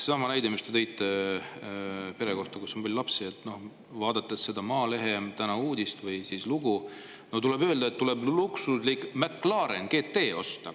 Seesama näide, mis te tõite pere kohta, kus on palju lapsi – vaadates Maalehe tänast lugu, tuleb neile öelda, et tuleb osta luksuslik McLaren GT.